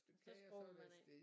Så skrubber man af